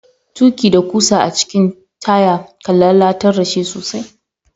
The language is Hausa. Tuki da kusa a cikin taya, kan lallatar da shi sosai.